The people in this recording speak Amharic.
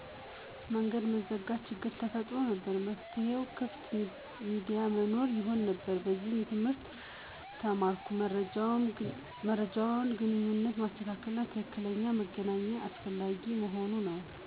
መንገድ መዘጋት ችግር ተፈጥሮ ነበር፤ መፍትሄው ክፍት ሚዲያ መኖር ይሆን ነበር። ከዚህ ትምህርት ተማርኩት የመረጃ ግንኙነትን ማስተካከል እና በትክክለኛነት መገናኘት አስፈላጊ መሆኑን ነው።